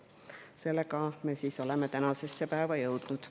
Nii me oleme tänasesse päeva jõudnud.